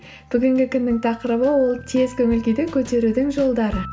бүгінгі күннің тақырыбы ол тез көңіл күйді көтерудің жолдары